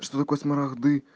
что такое смарахт ды